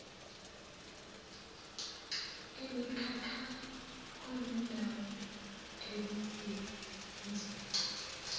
emikhakha kuzindawo ekuzinzwe